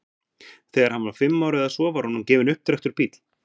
Þegar hann var fimm ára eða svo var honum gefinn upptrekktur bíll.